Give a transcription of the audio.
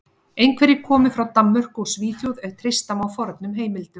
Einhverjir komu frá Danmörku og Svíþjóð ef treysta má fornum heimildum.